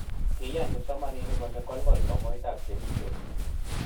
kiiyan kipsomninik kole kolkol somoitab kemistry